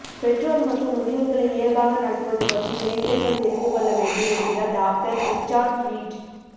பெற்றோர் மற்றும் முதியவர்களை இயல்பாக நடத்துவது பற்றி இளைஞர்கள் தெரிந்துக் கொள்ள வேண்டும் என்கிறார் டாக்டர் ரிச்சார்ட் ரீட்